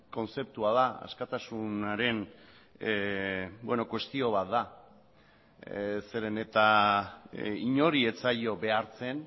kontzeptua da askatasunaren kuestio bat da zeren eta inori ez zaio behartzen